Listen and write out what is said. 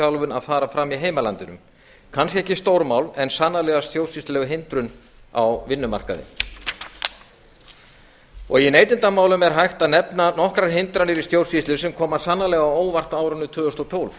starfsþjálfun að fara fram í heimalandinu kannski ekki stórmál en sannarlega stjórnsýsluleg hindrun á vinnumarkaði í neytendamálum er hægt að nefna nokkrar hindranir í stjórnsýslu sem koma sannarlega á óvart á árinu tvö þúsund og tólf